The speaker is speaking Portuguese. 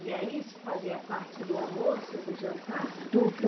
E aí isso fazia parte do almoço ou do jantar? Do, do